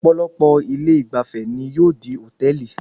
Ọ̀pọ̀lọpọ̀ ilé ìgbafẹ́ ni yóò di hòtẹ́ẹ̀lì.